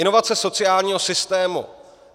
Inovace sociálního systému.